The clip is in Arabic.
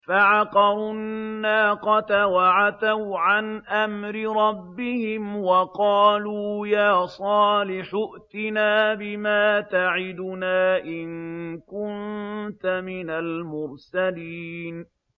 فَعَقَرُوا النَّاقَةَ وَعَتَوْا عَنْ أَمْرِ رَبِّهِمْ وَقَالُوا يَا صَالِحُ ائْتِنَا بِمَا تَعِدُنَا إِن كُنتَ مِنَ الْمُرْسَلِينَ